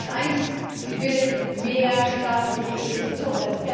Ad 1 Sie will mehr staatliche Investitionen.